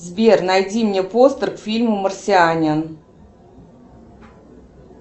сбер найди мне постер к фильму марсианин